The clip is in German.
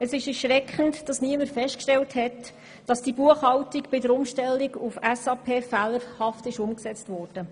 Es ist erschreckend, dass niemand festgestellt hat, dass die Umstellung der Buchhaltung auf SAP fehlerhaft war.